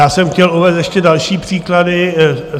Já jsem chtěl uvést ještě další příklady.